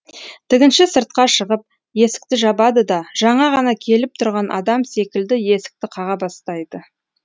тігінші сыртқа шығып есікті жабады да жаңа ғана келіп тұрған адам секілді есікті қаға бастайды